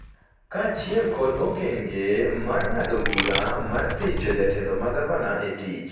kaachiel kod okenge mar ng’ado bura mar thich jotelo ma gavana e tich.